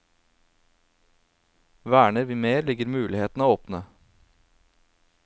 Verner vi mer, ligger mulighetene åpne.